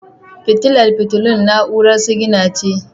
Fitilar fitilun na'urar sigina ce.